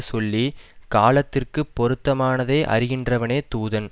சொல்லி காலத்திற்க்குப் பொருத்தமானதை அறிகின்றவனே தூதன்